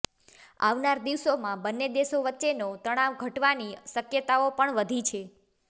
આવનાર દિવસોમાં બંને દેશો વચ્ચેનો તણાવ ઘટવાની શક્યતાઓ પણ વધી છે